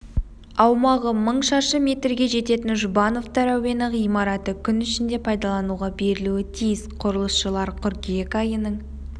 аумағы мың шаршы метрге жететін жұбановтар әуені ғимараты күн ішінде пайдалануға берілуі тиіс құрылысшылар қыркүйек айының